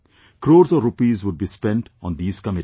Crores of rupees would be spent on these committees